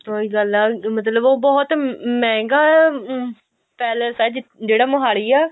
ਫੇਰ ਉਹੀ ਗੱਲ ਆ ਮਤਲਬ ਉਹ ਬਹੁਤ ਮਹਿੰਗਾ ਹਮ palace ਆ ਜਿਹੜਾ ਮੋਹਾਲੀ ਹੈ